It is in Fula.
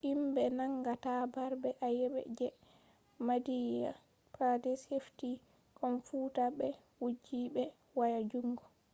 himbe nangata marbe ayebe je madhya pradesh hefti komfuta be wujji be waya jundo